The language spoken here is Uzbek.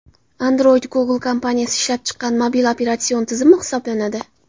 Android Google kompaniyasi ishlab chiqqan mobil operatsion tizimi hisoblanadi.